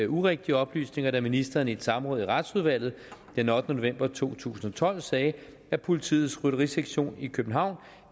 urigtige oplysninger da ministeren i et samråd i retsudvalget den ottende november to tusind og tolv sagde at politiets rytterisektion i københavn